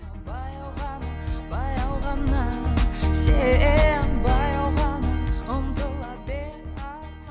баяу ғана баяу ғана сен баяу ғана ұмтыла бер